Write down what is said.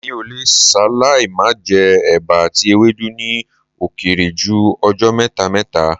Mi ò le ṣaláì má jẹ́ ẹba àti ewédú ní ó kéré jù ọjọ́ mẹ́ta mẹ́ta